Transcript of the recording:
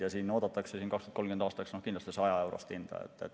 2030. aastaks oodatakse kindlasti 100‑eurost hinda.